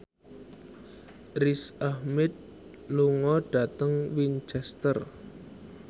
Riz Ahmed lunga dhateng Winchester